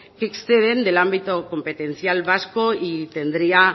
que exceden den ámbito competencial vasco y tendría